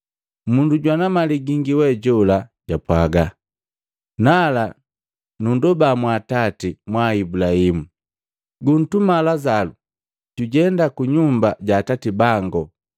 Mundu jwana mali gingi we jola japwaga, ‘Nala nunndoba mwaatati mwaa Ibulahimu, guntuma Lazalo jujenda ku nyumba ja atati bango,